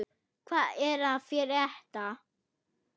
Hvað er að frétta!